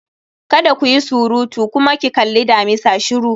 Kada ku yi surutu! kuma ki kalli damisa shiru